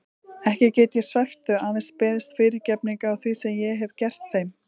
Ekki get ég svæft þau, aðeins beðist fyrirgefningar á því sem ég hef gert þeim.